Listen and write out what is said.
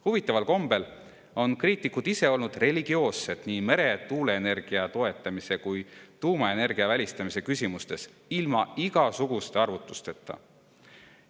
Huvitaval kombel on kriitikud ise olnud religioossed nii meretuuleenergia toetamise kui ka tuumaenergia välistamise küsimustes, ilma igasuguste arvutusteta.